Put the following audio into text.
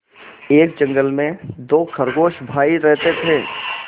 एक जंगल में दो खरगोश भाई रहते थे